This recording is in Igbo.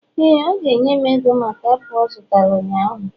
éè, ọ ga-enye m ego maka apụl ọ zụtara ụnyahụ